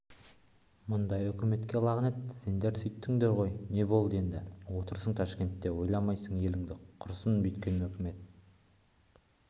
мұндай өкіметке лағынет сендер сөйттіңдер ғой не болдық енді отырасың ташкентте ойламайсың еліңді құрысын бүйткен өкімет